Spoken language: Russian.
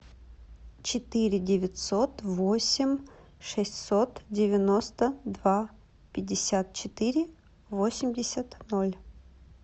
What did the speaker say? четыре девятьсот восемь шестьсот девяносто два пятьдесят четыре восемьдесят ноль